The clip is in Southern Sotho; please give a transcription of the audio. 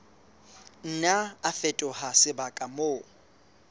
nna a fetoha sebaka moo